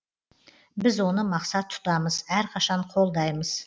біз оны мақсат тұтамыз әрқашан қолдаймыз